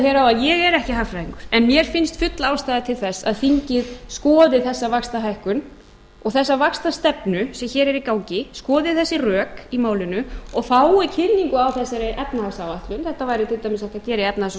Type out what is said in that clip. er ekki hagfræðingur en mér finnst full ástæða til þess að þingið skoði þessa vaxtahækkun og þessa vaxtastefnu sem hér er í gangi skoði þessi rök í málinu og fái kynningu á þessari efnahagsáætlun þetta væri til dæmis hægt að gera í efnahags og